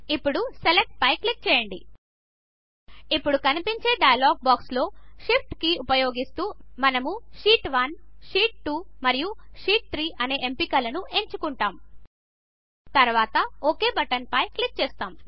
ఇప్పుడు సెలెక్ట్ పై క్లిక్ చేయండి ఇప్పుడు కనిపించే డైలాగ్ బాక్స్లో షిఫ్ట్ కీ ఉపయోగిస్తూ మనము షీట్ 1 షీట్ 2 మరియు షీట్ 3 అనే ఎంపికలను ఎంచుకుంటాము తరువాత ఒక్ బటన్పై క్లిక్ చేస్తాము